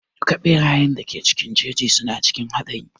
Duka ɓerayen da ke cikin jeji suna cikin haɗari.